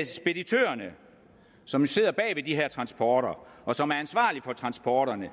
at speditørerne som står bag de her transporter og som er ansvarlige for transporterne